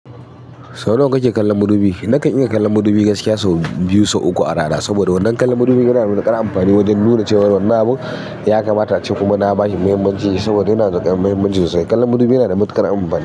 Sau nawa kake kallon madubi? Nakan iya kallon madubi gaskiya so biyu so uku a rana saboda wannan kallon madubi yana da wani kar amfani wajen nuna cewar wannan abun ya kamata a ce kuma na bashi muhimmanci saboda yana da kar muhimmanci sosai. Kallon madubi yana da matuƙar amfani.